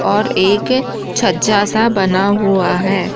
और एक छज्जा सा बना हुआ है।